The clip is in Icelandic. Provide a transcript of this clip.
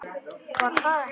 Var það ekki?